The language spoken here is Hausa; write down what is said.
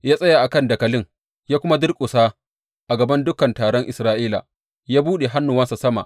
Ya tsaya a kan dakalin ya kuma durƙusa a gaban dukan taron Isra’ila ya buɗe hannuwansa sama.